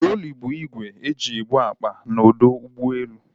Trọli bụ igwe e ji ebu akpa na ọdọ ụgbọelu